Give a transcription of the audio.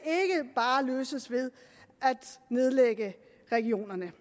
bare løses ved at nedlægge regionerne